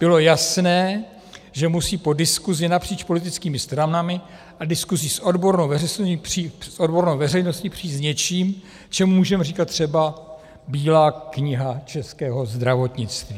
Bylo jasné, že musí po diskusi napříč politickými stranami a diskusi s odbornou veřejností přijít s něčím, čemu můžeme říkat třeba Bílá kniha českého zdravotnictví.